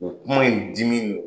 O kuma in dimi